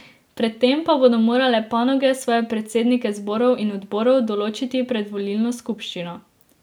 Pred tem pa bodo morale panoge svoje predsednike zborov in odborov določiti pred volilno skupščino.